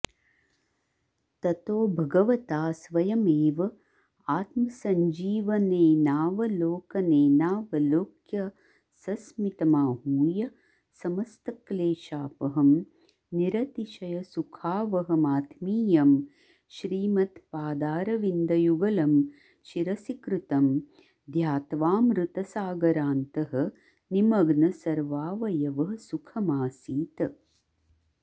ततो भगवता स्वयमेवात्मसञ्जीवनेनावलोकनेनावलोक्य सस्मितमाहूय समस्तक्लेशापहं निरतिशयसुखावहमात्मीयं श्रीमत्पादारविन्दयुगलं शिरसि कृतं ध्यात्वाऽमृतसागरान्तः निमग्नसर्वावयवः सुखमासीत